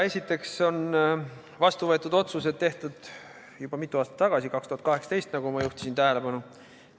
Esiteks on vastu võetud otsused tehtud juba mitu aastat tagasi, 2018, nagu ma tähelepanu juhtisin.